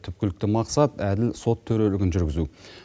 түпкілікті мақсат әділ сот төрелегін жүргізу